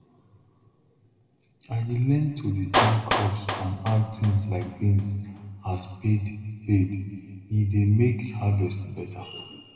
i dey learn to dey change crops and add things like beans as paid paid e dey make harvest better